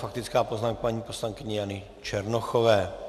Faktická poznámka paní poslankyně Jany Černochové.